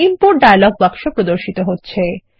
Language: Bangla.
ইম্পোর্ট ডায়লগ বাক্স প্রদর্শিত হচ্ছে